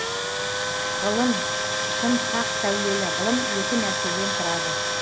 ғылым шын хақ сәулелі ғылым екі нәрседен тұрады